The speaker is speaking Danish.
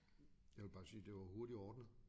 Jeg ville bare sige det var hurtigt ordnet